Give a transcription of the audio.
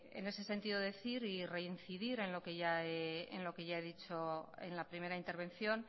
en ese sentido decir y reincidir en lo que ya he dicho en la primera intervención